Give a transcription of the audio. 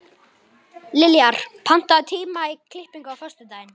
Liljar, pantaðu tíma í klippingu á föstudaginn.